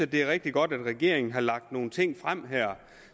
det er rigtig godt at regeringen her har lagt nogle ting frem